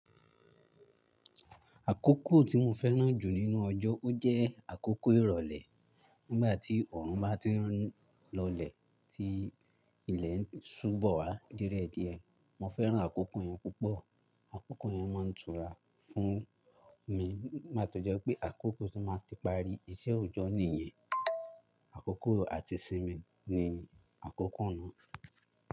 Àkókò tí mo fẹ́ràn jù nínú ọjọ́, ó jẹ́ àkókò ìrọ̀lẹ́. Nígbà tí ọ̀run bá ti ń lọlẹ̀ tí ilẹ̀ ń ṣúbọ̀ wá diẹdíẹ̀, mo fẹ́ràn àkókò yẹn púpọ̀. Àkókò yẹn mọ ń túra fún mi, ìgbà tó jẹ́ pé àkókò tí máa ti parí iṣẹ́ òjọ́ nìyẹn. Àkókò àti ìsinmi ni àkókò náà.